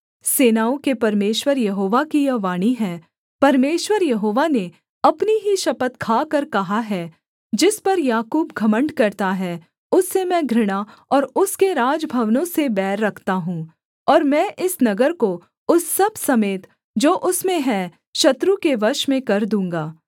सेनाओं के परमेश्वर यहोवा की यह वाणी है परमेश्वर यहोवा ने अपनी ही शपथ खाकर कहा है जिस पर याकूब घमण्ड करता है उससे मैं घृणा और उसके राजभवनों से बैर रखता हूँ और मैं इस नगर को उस सब समेत जो उसमें है शत्रु के वश में कर दूँगा